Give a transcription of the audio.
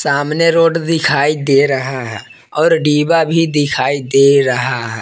सामने रोड दिखाई दे रहा है और डिब्बा भी दिखाई दे रहा है।